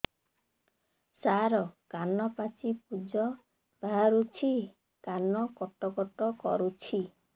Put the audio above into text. ସାର କାନ ପାଚି ପୂଜ ବାହାରୁଛି କାନ କଟ କଟ କରୁଛି